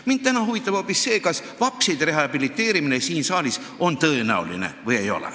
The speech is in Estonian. Mind huvitab täna hoopis see, kas vapside rehabiliteerimine siin saalis on tõenäoline või ei.